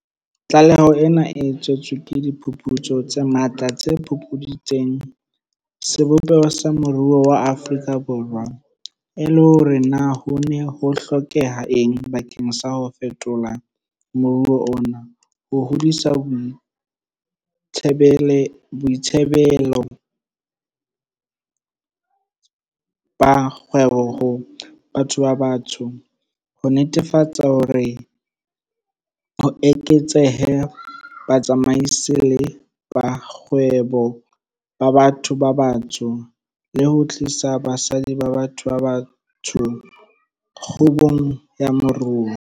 Tlaleho ena e tswetswe ke diphuputso tse matla tse fupuditseng sebopeho sa moruo wa Afrika Borwa, le hore na ho ne ho hlokeha eng bakeng sa ho fetola moruo ona, ho hodisa boitsebelo ba kgwebo ho batho ba batsho, ho netefatsa hore ho eketsehe batsamaisi le borakgwebo ba batho ba batsho, le ho tlisa basadi ba batho ba batsho kgubung ya moruo.